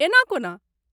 एना कोना?